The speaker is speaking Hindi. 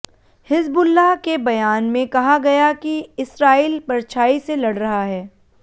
हिज़्बुल्लाह के बयान में कहा गया कि इस्राईल परछाई से लड़ रहा है